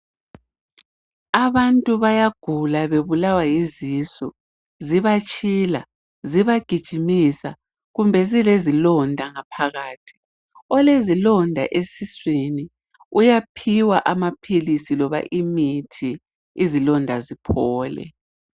Abantu bayagula bebulawa yizisu zibatshila zibagijimisa kumbe zilezilonda ngaphakathi olezilonda esiswini uyaphiwa amaphilisi loba imithi izilonda ziphole.